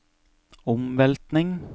omveltning